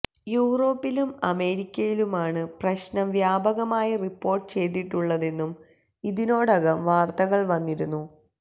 യൂറോപ്പിലും അമേരിക്കയിലുമാണ് പ്രശ്നം വ്യാപകമായി റിപ്പോർട്ട് ചെയ്തിട്ടുള്ളതെന്നും ഇതിനോടകം വാർത്തകൾ വന്നിരുന്നു